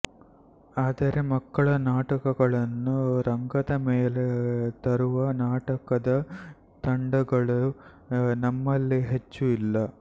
ಆದರೆ ಮಕ್ಕಳ ನಾಟಕಗಳನ್ನು ರಂಗದ ಮೇಲೆ ತರುವ ನಾಟಕದ ತಂಡಗಳು ನಮಲ್ಲಿ ಹೆಚ್ಚು ಇಲ್ಲ